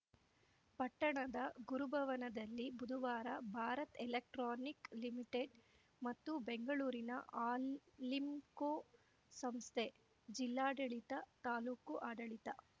ಪಟ್ಟಣದ ಗುರುಭವನದಲ್ಲಿ ಬುಧವಾರ ಭಾರತ್‌ ಎಲೆಕ್ಟ್ರಾನಿಕ್‌ ಲಿಮಿಟೆಡ್‌ ಮತ್ತು ಬೆಂಗಳೂರಿನ ಅಲಿಂಕೊ ಸಂಸ್ಥೆ ಜಿಲ್ಲಾಡಳಿತ ತಾಲೂಕು ಆಡಳಿತ